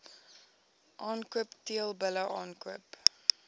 aankoop teelbulle aankoop